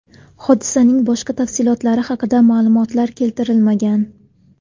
Hodisaning boshqa tafsilotlari haqida ma’lumotlar keltirilmagan.